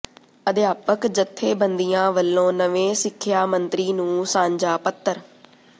ਅਧਿਆਪਕ ਜਥੇਬੰਦੀਆਂ ਵੱਲੋਂ ਨਵੇਂ ਸਿੱਖਿਆ ਮੰਤਰੀ ਨੂੰ ਸਾਂਝਾ ਪੱਤਰ